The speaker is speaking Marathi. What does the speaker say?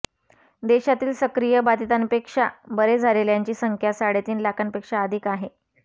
देशातील सक्रिय बाधितांपेक्षा बरे झालेल्यांची संख्या साडेतीन लाखांपेक्षा अधिक आहे